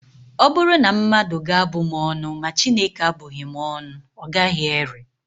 Ọ bụrụ na mmadụ ga-abụ m ọnụ, ma Chineke abụghị m ọnụ, ọ gaghị ere